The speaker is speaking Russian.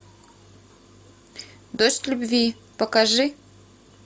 дождь любви покажи